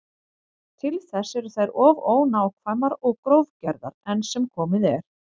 Til þess eru þær of ónákvæmar og grófgerðar enn sem komið er.